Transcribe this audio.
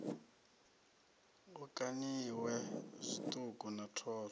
hu kaniwe zwiṱuku na thoro